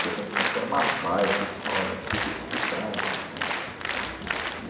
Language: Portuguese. Caetano de Campos era uma baita escola, super disputada, né e.